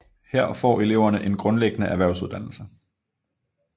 Her får eleverne en grundlæggende erhvervsuddannelse